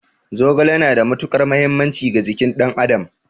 Zogale yana da matuƙar mahimmanci ga jikin ɗan adam